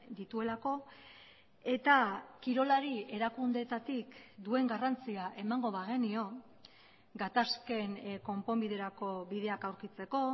dituelako eta kirolari erakundeetatik duen garrantzia emango bagenio gatazken konponbiderako bideak aurkitzeko